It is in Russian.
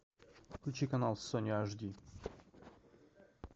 включи канал сони аш ди